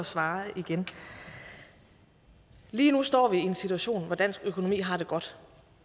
svare igen lige nu står vi i en situation hvor dansk økonomi har det godt